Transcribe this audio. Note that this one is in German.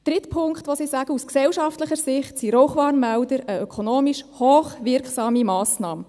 Drittens: Aus gesellschaftlicher Sicht seien Rauchwarnmelder eine ökonomisch hoch wirksame Massnahme.